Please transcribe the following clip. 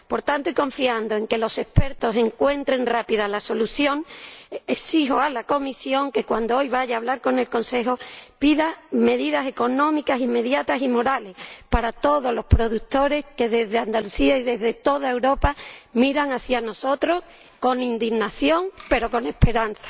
Por tanto, y confiando en que los expertos encuentren rápidamente la solución, exijo a la Comisión que hoy, cuando vaya a hablar con el Consejo, pida medidas económicas inmediatas y morales para todos los productores que, desde Andalucía y desde toda Europa, miran hacia nosotros con indignación, pero con esperanza.